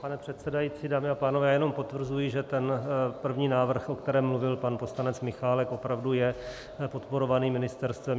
Pane předsedající, dámy a pánové, já jenom potvrzuji, že ten první návrh, o kterém mluvil pan poslanec Michálek, opravdu je podporovaný ministerstvem.